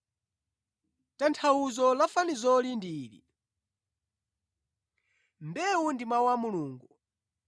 “Tanthauzo la fanizoli ndi ili: Mbewu ndi mawu a Mulungu.